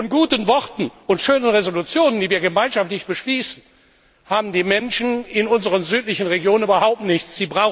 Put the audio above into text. Denn von guten Worten und schönen Entschließungen, die wir gemeinschaftlich beschließen, haben die Menschen in unseren südlichen Nachbarschaftsregionen überhaupt nichts.